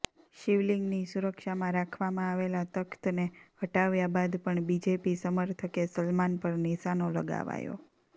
શિવલિંગની સુરક્ષામાં રાખવામાં આવેલા તખ્તને હટાવ્યા બાદ પણ બીજેપી સમર્થકે સલમાન પર નિશાનો લગાવાયો